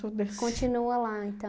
Continua lá, então?